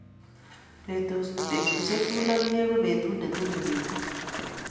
petushiek tugul ak inye ko petut ne talilitu